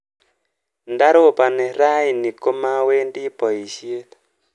Ndaropani raini komawendi boishet